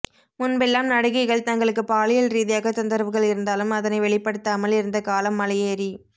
முன்பெல்லாம் நடிகைகள் தங்களுக்கு பாலியல் ரீதியாக தொந்தரவுகள் இருந்தாலும் அதனை வெளிப்படுத்தாமல் இருந்த காலம் மலையேறி